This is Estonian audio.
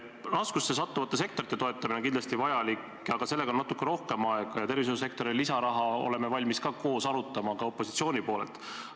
Raskusse sattuvate sektorite toetamine on kindlasti vajalik, aga sellega on natuke rohkem aega, ja ka tervishoiusektori lisaraha teemat oleme valmis koos arutama, ka opositsiooni poolelt.